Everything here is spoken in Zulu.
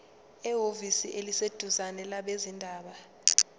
ehhovisi eliseduzane labezindaba